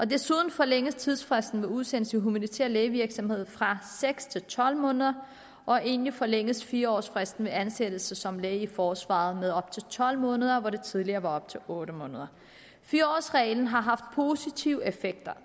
desuden forlænges tidsfristen ved udsendelse i humanitær lægevirksomhed fra seks til tolv måneder og endelig forlænges fire års fristen ved ansættelse som læge i forsvaret med op til tolv måneder hvor det tidligere var op til otte måneder fire årsreglen har haft positive effekter